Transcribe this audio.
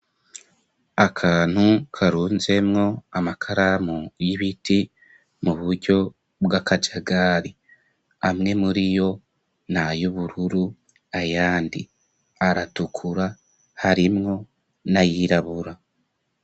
Akantu karunzemwo amakaramu y'ibiti mu buryo bw'akajagari. Amwe muriyo nay'ubururu, ayandi aratukura, harimwo n'ayirabura.